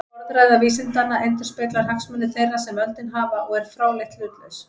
Orðræða vísindanna endurspeglar hagsmuni þeirra sem völdin hafa og er fráleitt hlutlaus.